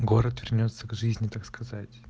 город вернётся к жизни так сказать